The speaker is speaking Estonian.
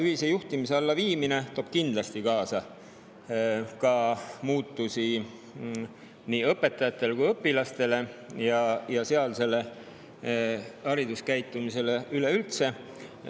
Ühise juhtimise alla viimine toob kindlasti kaasa muutusi nii õpetajatele kui ka õpilastele ja haridus üleüldse.